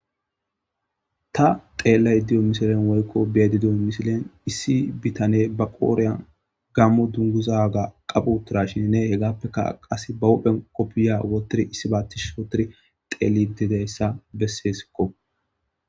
Ta tellayda diyo misilen woyko be'eddo misilen issi bitane ba koren Gamo dunguza qabi utirashinne hegappe qassi ba huphphen qoobiya wottiri tellidi diya asa bessesoko.